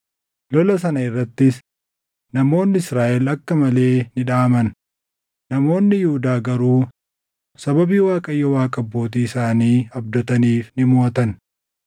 Lola sana irrattis namoonni Israaʼel akka malee ni dhaʼaman; namoonni Yihuudaa garuu sababii Waaqayyo Waaqa abbootii isaanii abdataniif ni moʼatan.